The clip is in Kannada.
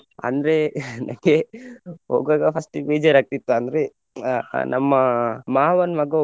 ಅಂದ್ರೆ ನನಗೆ ಹೋಗುವಾಗ first ಗ್ ಬೇಜಾರಾಗ್ತಿತ್ತು ಅಂದ್ರೆ ಅಹ್ ಅಹ್ ನಮ್ಮ ಮಾವನ್ ಮಗ.